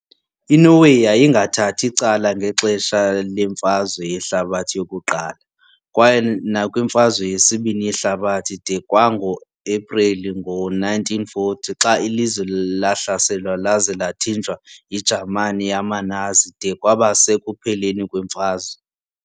INorway yayingathathi cala ngexesha leMfazwe yeHlabathi yokuQala, kwaye nakwiMfazwe yesibini yeHlabathi de kwango-Epreli ngo-1940 xa ilizwe lahlaselwa laza lathinjwa yiJamani yamaNazi de kwaba sekupheleni kwemfazwe.